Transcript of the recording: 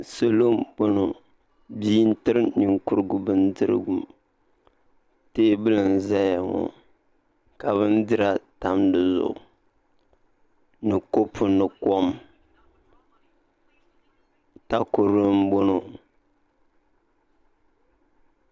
Salo n boŋo bia n tiri ninkurugu bindirigu teebuli n ʒɛya ŋo ka bindira tam dizuɣu ni kopu ni kom takoro n boŋo